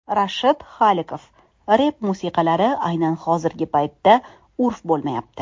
Rashid Xoliqov: Rep musiqalari aynan hozirgi paytda urf bo‘lmayapti.